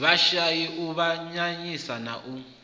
vhashai u avhanyisa na u